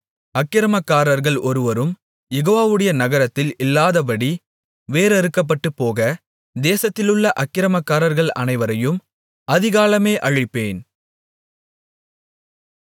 அக்கிரமக்காரர்கள் ஒருவரும் யெகோவாவுடைய நகரத்தில் இல்லாதபடி வேர் அறுக்கப்பட்டுபோக தேசத்திலுள்ள அக்கிரமக்காரர்கள் அனைவரையும் அதிகாலமே அழிப்பேன்